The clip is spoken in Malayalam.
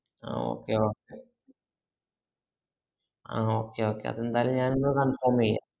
അഹ് okay okay ah ah okay okay എന്തായാലും ഞാനിന്ന് confirm ഏയ്യം